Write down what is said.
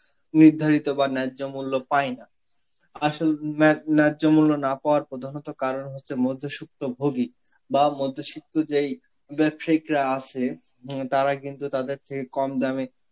নির্ধারিত বা ন্যায্য মূল্য পায়না. আসল ম্যা~ ন্যায্য মূল্য না পাওয়ার প্রধানত কারণ হচ্ছে মধ্যসুক্ত ভোগী বা মধ্যসিক্ত যেই রা আছে হম তারা কিন্তু তাদের থেকে কম দামে